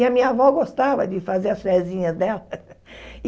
E a minha avó gostava de fazer as rézinhas dela.